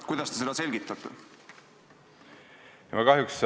Kuidas te seda selgitate?